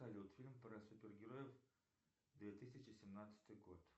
салют фильм про супергероев две тысячи семнадцатый год